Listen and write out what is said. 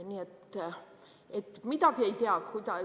Nii et midagi ei tea.